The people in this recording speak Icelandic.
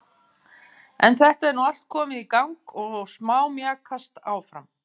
En þetta er nú allt komið í gang og smámjakast áfram.